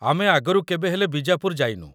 ଆମେ ଆଗରୁ କେବେ ହେଲେ ବିଜାପୁର ଯାଇନୁ ।